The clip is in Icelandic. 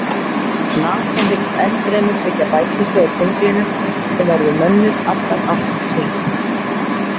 NASA hyggst ennfremur byggja bækistöð á tunglinu sem verður mönnuð allan ársins hring.